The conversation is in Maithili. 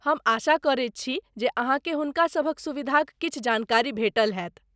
हम आशा करैत छी जे अहाँकेँ हुनका सभक सुविधाक किछु जानकारी भेटल होयत।